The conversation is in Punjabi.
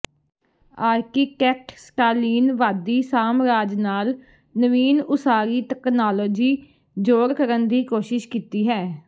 ਆਰਕੀਟੈਕਟ ਸਟਾਲਿਨਵਾਦੀ ਸਾਮਰਾਜ ਨਾਲ ਨਵੀਨ ਉਸਾਰੀ ਤਕਨਾਲੋਜੀ ਜੋੜ ਕਰਨ ਦੀ ਕੋਸ਼ਿਸ਼ ਕੀਤੀ ਹੈ